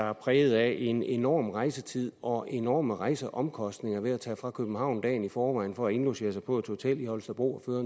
er præget af en enorm rejsetid og enorme rejseomkostninger ved at tage fra københavn dagen i forvejen for at indlogere sig på et hotel i holstebro for